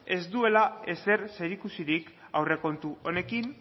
ez duela ezer zer ikusirik aurrekontu honekin